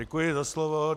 Děkuji za slovo.